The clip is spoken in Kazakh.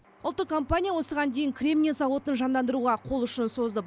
ұлттық компания осыған дейін кремний зауытын жандандыруға қол ұшын созды